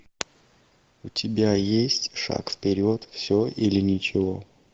у тебя есть шаг вперед все или ничего